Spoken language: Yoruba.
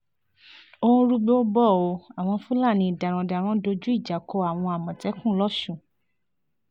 ó ń rúgbòó bò ó àwọn fúlàní darandaran dojú ìjà kọ àwọn àmọ̀tẹ́kùn lọ́sùn